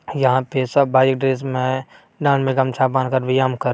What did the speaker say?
यहाँ पे सब भाई एक ड्रेस में हैं | डाँड़ में गमछा बाँध कर व्यायाम कर --